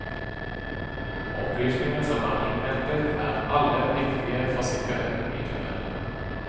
Opplysningene som er innhentet er alle viktig for sikkerheten i tunnelene.